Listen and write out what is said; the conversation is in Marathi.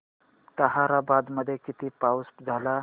ताहराबाद मध्ये किती पाऊस झाला